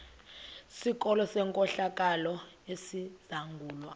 sikolo senkohlakalo esizangulwa